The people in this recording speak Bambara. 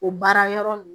O baara yɔrɔ n